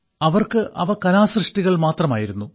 അവർക്ക് അവ കലാസൃഷ്ടികൾ മാത്രമായിരുന്നു